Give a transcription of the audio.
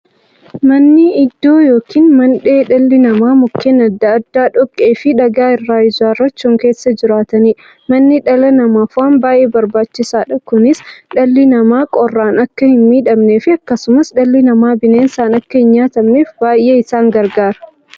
Manni iddoo yookiin mandhee dhalli namaa Mukkeen adda addaa, dhoqqeefi dhagaa irraa ijaarachuun keessa jiraataniidha. Manni dhala namaaf waan baay'ee barbaachisaadha. Kunis, dhalli namaa qorraan akka hinmiidhamneefi akkasumas dhalli namaa bineensaan akka hinnyaatamneef baay'ee isaan gargaara.